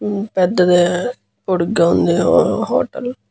ఉమ్ పెద్దదీ పొడుగ్గా వుంది హు హోటల్ .